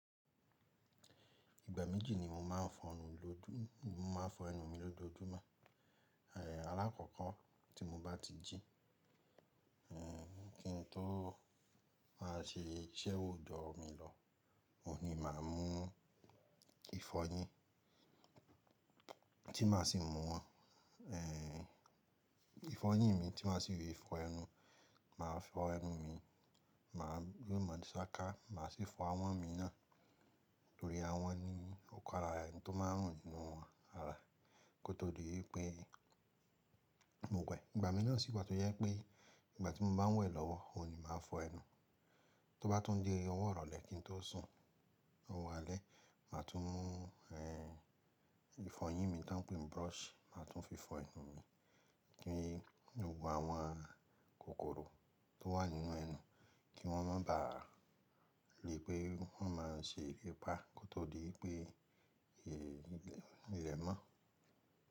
Ìgbà méjì ni mo máa ń fọ ẹnu mi lójoojúmọ́. Alákọ̀ọ́kọ́ tí mo bá ti jí, kí n tó má ṣe iṣẹ́ òòjọ́ mi lọ, òun ni màá mú ìfọyín tí màá sì mú wọn, ìfọyín mi tí màá sì fi fọ ẹnu. Màá fọ ẹnu mi, màá le mo sáká, màá sì fọ ahọ́n mi náà nítorí àhọn ni ó ka ara ẹni tó máa ń rùn nínú ara kó tó di ipé mo wẹ̀. Ìgbà mi náà sì pọ̀ tó yẹ pé ìgbà tí mo bá n wẹ̀ lọ́wọ́, òun ni màá fọ ẹnu. Tó bá tún di ọwọ́ irọ̀le kín tó sùn, owó alẹ́, màá tún mú, ehn, ìfọyín mi tá ń pè ní brush, màá tún fi fọ ẹnu mi kí ewu àwọn kòkòrò tó wà nínú ẹnu kí wọ́n má bà lè pé wọ́n máa ṣe ìrépà kó tó di pé ìlẹ̀ mọ́